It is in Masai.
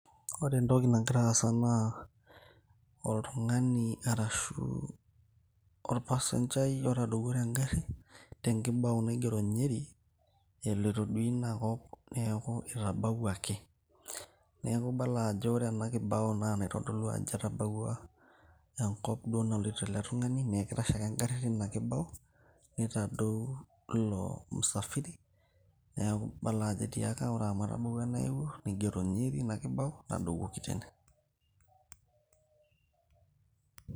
Ore entoki nagira aasa naa oltangani ashu orpasengai otadouo tegari tenkibau naigero Njeri eloito duo ina kop neeku itabawuaki. Neeku idol ajoo ore ena kibau naa enaitodolu ajo etabaua enkop duo nailoito ele tungani neeku kitasho ake egari tina kibau nitadou ilo safiri neeku idol ajo etiaka ore amu atabaua enaloito nigoro Njeri tina kibau, ntadowuoki teine